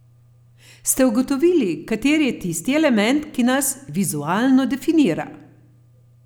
Ste ugotovili, kateri je tisti element, ki nas vizualno definira?